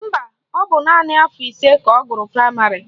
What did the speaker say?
Mba, ọ bụ naanị afọ ise ka ọ gụrụ praịmarị